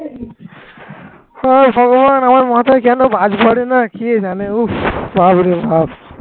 হে ভগবান আমার মাথায় কেন বাজ পড়ে না কি জানে উফ বাপরে বাপ